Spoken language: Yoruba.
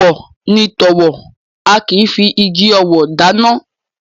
Èèwọ̀ ni tọ̣wọ̀, a kì í figi ọ̣wọ̀ dáná